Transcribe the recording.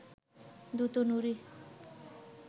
দুটো নুড়ি